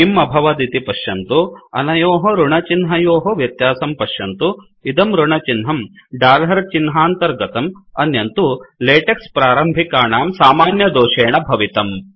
किं अभवदिति पश्यन्तु अनयोः ऋणचिह्नयोः व्यत्यासं पश्यन्तु इदं ऋणचिह्नं डालर् चिह्नान्तर्गतम् अन्यं तु लेटेक्स् प्रारम्भिकाणां समान्यदोषेण भवितम्